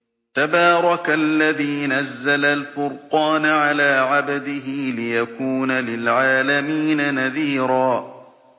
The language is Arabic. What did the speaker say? تَبَارَكَ الَّذِي نَزَّلَ الْفُرْقَانَ عَلَىٰ عَبْدِهِ لِيَكُونَ لِلْعَالَمِينَ نَذِيرًا